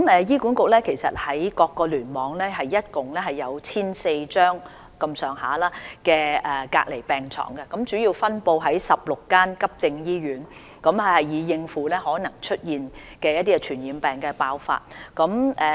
醫管局各個聯網合共設有約 1,400 張隔離病床，主要分布於16間急症醫院，用以應付可能出現的傳染病爆發情況。